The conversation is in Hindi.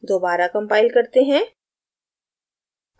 दोबारा compile करते हैं